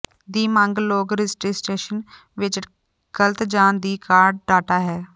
ਦੀ ਮੰਗ ਲੋਕ ਰਜਿਸਟਰੇਸ਼ਨ ਵਿੱਚ ਗਲਤ ਜ ਦੀ ਕਾਢ ਡਾਟਾ ਹੈ